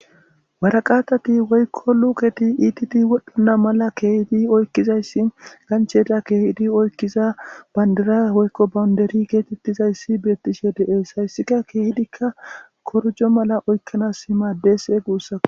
Waraqatati woykko luuketi ititi wodhdhana mala keehidi oykkizayssi gancheda keehidi oykkiza banddira woykko bawnderi geetettizayssi beettishe de7ees. Hayssika keehidikka korojjo mala oykkanaSsi maddeese guussakka.